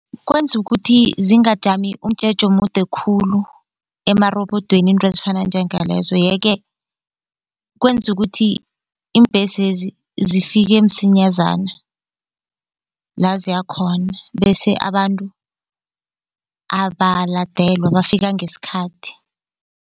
Kwenza ukuthi zingajami umjeje omude khulu amarobodweni into ezifana njengalezo, yeke kwenza ukuthi iimbhesezi zifike msinyazana la ziyakhona bese abantu abalandelwa bafika ngesikhathi.